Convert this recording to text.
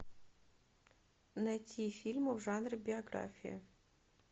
найти фильмы в жанре биография